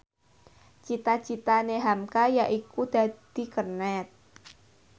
cita citane hamka yaiku dadi kernet